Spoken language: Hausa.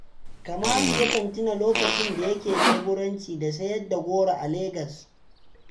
Kamalu yakan tuna lokacin da yake leburanci da sayar da goro a legas